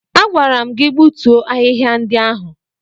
Agwara m gị gbutuo ahịhịa ndị ahụ!